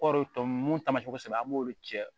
Kɔrɔ tɔ nunnu mun tamasiɲɛ kosɛbɛ an b'olu cɛ